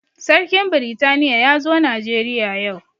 Sarkin britaniya ya zo najeriya yau